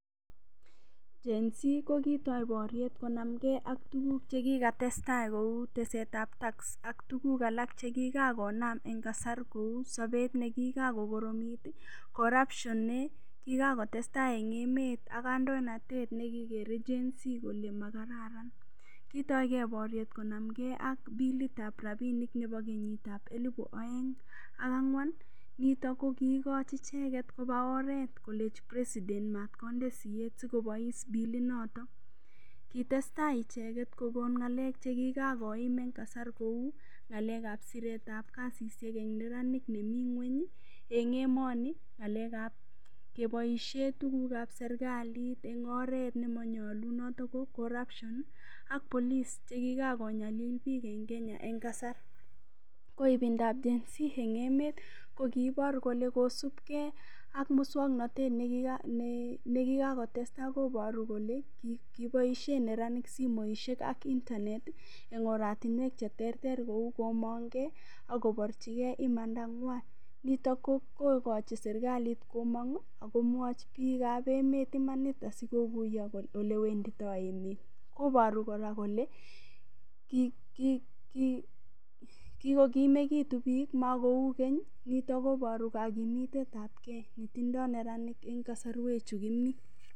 Gen_z kokitoi boruet konam kee ak tuguk chekikatestaa kou tesetab tax ak tuguk alak chekikan konam en kasar kou sobet nekiran konam kokoromit ii, corruption nekikan kotestaa en emet ak kandoinatet nekikere Gen_z kole makararan kitokee boruet konam kee ak bilitab rabinik nebo kenyitab elipu oeng ak angwan nito kokiigochi icheket kobaa oret kolenji president mot konde siet sikobois bilinoto, kitestaa icheket kokon ngalek chekikan koim en kasar kou ngalekab kasishek wn neranik nemi ngweny en emoni, ngalekab keboishen tugukab serkalit en oret nemonyolunot kou corruption ako police chekikan konyalil bik en Kenya en kasar, ko ibindab Gen _z en emet kokibor koke kosib kee ok muswoknotet nekikan kotestaa koboru kole kiboishe neranik simoishek ak internet en oratinwek cheterter kou komongee ak koborjigee imandangwan nito kokochin sirkalit komwochi bikab emet imanit asikokuyo olewendido emet koboru koraa kole kikokimekitun bik mokou keny kitakoboru kokimitetab kee netindo neranik en betushe chu kimi.